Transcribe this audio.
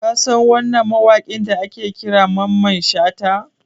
Ka san wannan mawaƙin da ake kira Mamman Shata?